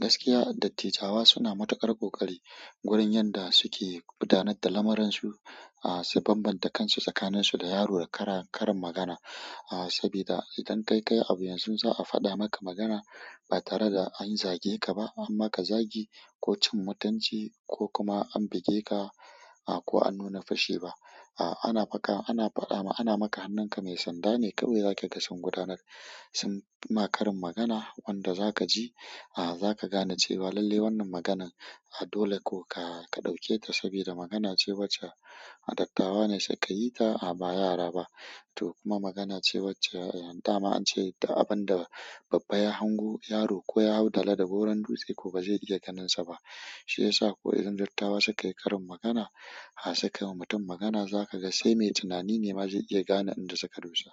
Gaskiya, dattijawa suna matuƙar ƙoƙari wurin yanda suke gudanar da lamuransu. Aaa su bambanta kansu tsakaninsu da yaro da kara-karin magana. Aaa sabida idan kai kayi abu yanzu za a faɗa maka magana ba tare da an zage ka ba an maka zagi ko cin mutunci ko kuma an buge ka a ko an nuna fushi ba. Ana maka hannunka me sanda ne kawai za kaga sun gudanar. Sun ma karin magana wanda za ka ji, aaa za ka gane cewa lalle wannan maganan dole ko ka-ka ɗauke ta sabida magana ce wacce dattawa ne sukayi ta a ba yara ba. To kuma magana ce wacce dama an ce duk abin da babba ya hango yaro ko ya hau dala da goron dutse ko ba zai iya ganinsa ba. Shiyasa ko idan dattawa sukayi karin magana, ha sukayi wa mutum magana za ka ga sai mai tunani ne ma zai iya gane inda suka dosa.